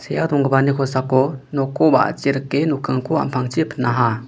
donggipani kosako nokko wa·achi rike nokkingko am·pangchi pinaha.